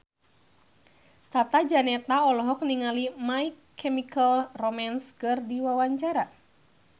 Tata Janeta olohok ningali My Chemical Romance keur diwawancara